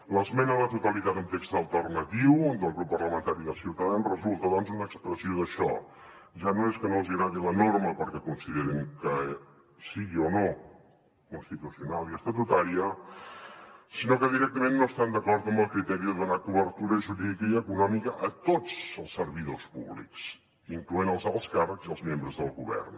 l’esmena a la totalitat amb text alternatiu del grup parlamentari de ciutadans resulta doncs una expressió d’això ja no és que no els agradi la norma perquè considerin que sigui o no constitucional i estatutària sinó que directament no estan d’acord amb el criteri de donar cobertura jurídica i econòmica a tots els servidors públics incloent els alts càrrecs i els membres del govern